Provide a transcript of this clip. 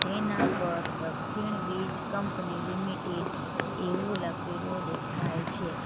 એના પર Dakshin Vij company limited એવું લખેલું દેખાય છે.